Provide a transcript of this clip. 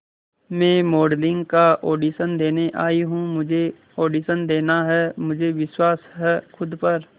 मैं मॉडलिंग का ऑडिशन देने आई हूं मुझे ऑडिशन देना है मुझे विश्वास है खुद पर